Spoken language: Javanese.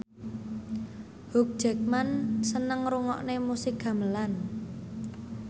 Hugh Jackman seneng ngrungokne musik gamelan